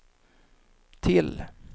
till